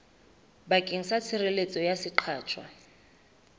bakeng sa tshireletso ya seqatjwa